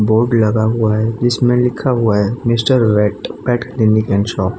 Board लगा हुआ है इसमें लिखा हुआ है Mr vet pet clinic shop.